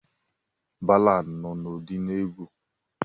Balaadi nọ n'ụdị egwu.